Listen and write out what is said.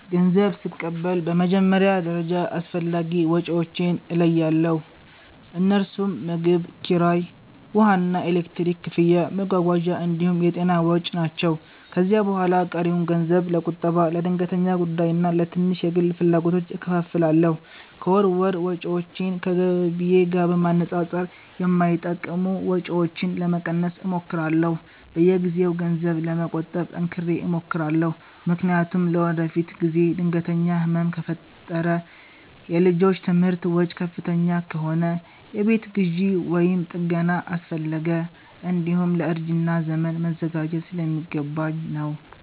ገንዘብ ስቀበል በመጀመሪያ ደረጃ አስፈላጊ ወጪዎቼን እለያለሁ፤ እነርሱም ምግብ፣ ኪራይ፣ ውሃና ኤሌክትሪክ ክፍያ፣ መጓጓዣ እንዲሁም የጤና ወጪ ናቸው። ከዚያ በኋላ ቀሪውን ገንዘብ ለቁጠባ፣ ለድንገተኛ ጉዳይና ለትንሽ የግል ፍላጎቶች እከፋፍላለሁ። ከወር ወር ወጪዎቼን ከገቢዬ ጋር በማነጻጸር የማይጠቅሙ ወጪዎችን ለመቀነስ እሞክራለሁ። በየጊዜው ገንዘብ ለመቆጠብ ጠንክሬ እሞክራለሁ፤ ምክንያቱም ለወደፊት ጊዜ ድንገተኛ ህመም ከፈጠረ፣ የልጆች ትምህርት ወጪ ከፍተኛ ከሆነ፣ የቤት ግዢ ወይም ጥገና አስፈለገ፣ እንዲሁም ለእርጅና ዘመን መዘጋጀት ስለሚገባኝ ነው።